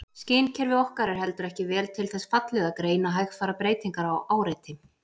Skynkerfi okkar er heldur ekki vel til þess fallið að greina hægfara breytingar á áreiti.